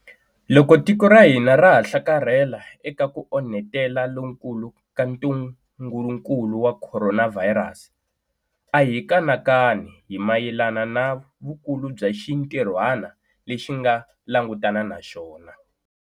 Loko tiko ra hina ra ha hlakarhela eka ku onhetela lokukulu ka ntungukulu wa khoronavhayirasi, a hi kanakani hi mayelana na vukulu bya xintirhwana lexi nga langutana na xona.